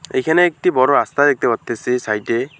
এখানে একটি বড় রাস্তা দেখতে পাত্তাসি সাইডে।